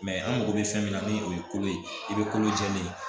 an mago bɛ fɛn min na ni o ye kolo ye i bɛ kolo jɛlen ye